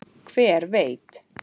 Hver veit